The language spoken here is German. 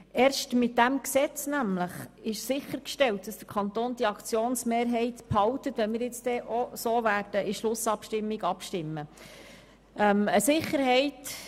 Erst mit diesem Gesetz ist nämlich sichergestellt, dass der Kanton die Aktienmehrheit behält, wenn wir es nun auch in der Schlussabstimmung beschliessen.